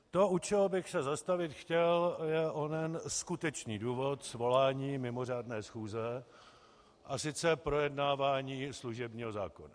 To, u čeho bych se zastavit chtěl, je onen skutečný důvod svolání mimořádné schůze, a to projednávání služebního zákona.